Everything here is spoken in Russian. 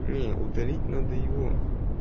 не удалить надо его